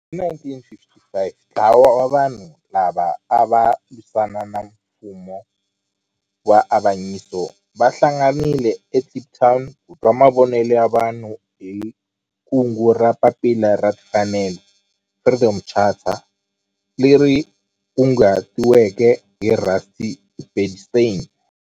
Hi 1955 ntlawa wa vanhu lava ava lwisana na nfumo wa avanyiso va hlanganile eKliptown ku twa mavonelo ya vanhu hi kungu ra Papila ra Timfanelo, Freedom Charter, leri kunguhatiweke hi Rusty Bernstein.